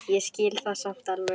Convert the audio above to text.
Ég skil það samt alveg.